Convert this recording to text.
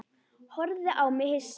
Horfði á mig hissa.